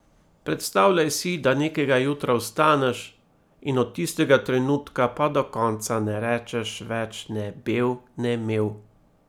Predstavljaj si, da nekega jutra vstaneš in od tistega trenutka pa do konca ne rečeš več ne bev ne mev.